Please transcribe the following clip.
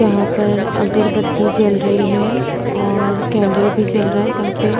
यहाँ पर अगरबत्ती जल रही है और कैंडल भी चल रहा है जहां पे --